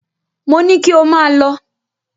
Mo ní kí ò máa lọ!